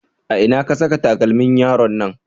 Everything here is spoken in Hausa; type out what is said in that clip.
A ina ka saka takalmin yaron nan?